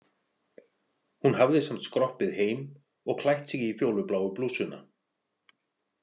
Hún hafði samt skroppið heim og klætt sig í fjólubláu blússuna.